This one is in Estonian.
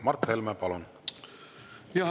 Mart Helme, palun!